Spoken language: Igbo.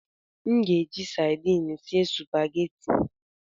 M ga-eji sardin sie sụpaghetị.